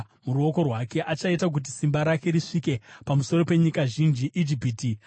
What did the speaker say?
Achaita kuti simba rake risvike pamusoro penyika zhinji; Ijipiti haingapunyuki.